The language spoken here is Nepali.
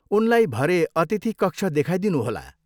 उनलाई भरे अतिथि कक्ष देखाइदिनु होला।